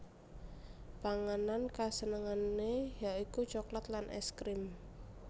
Panganan kasenengané ya iku coklat lan ès krim